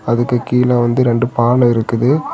அதுக்கு கீழ வந்து ரெண்டு பாலோ இருக்குது.